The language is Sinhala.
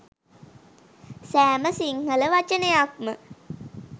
සෑම සිංහල වචනයක්ම